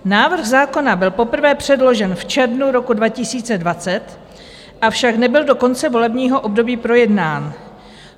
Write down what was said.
Návrh zákona byl poprvé předložen v červnu roku 2020, avšak nebyl do konce volebního období projednán.